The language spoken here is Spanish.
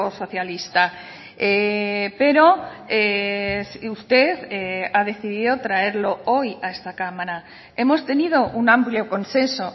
socialista pero usted ha decidido traerlo hoy a esta cámara hemos tenido un amplio consenso